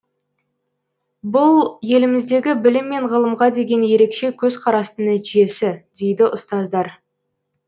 бұл еліміздегі білім мен ғылымға деген ерекше көзқарастың нәтижесі дейді ұстаздар